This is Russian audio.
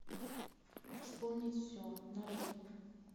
вспомнить все нарой